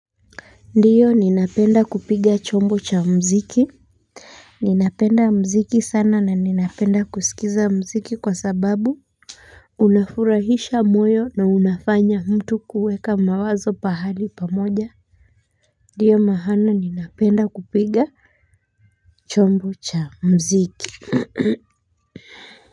Ndio ninapenda kupiga chombo cha mziki. Ninapenda mziki sana na ninapenda kuskiza mziki kwa sababu unafurahisha moyo na unafanya mtu kuweka mawazo pahali pamoja. Ndio maana ninapenda kupiga chombo cha mziki.